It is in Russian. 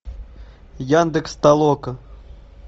яндекс толока